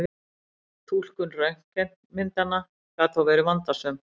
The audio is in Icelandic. Túlkun röntgenmyndanna gat þó verið vandasöm.